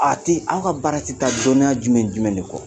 A tɛ aw ka baarati ta dɔnniya jumɛn jumɛn de kɔ